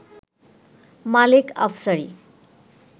Malek Afsari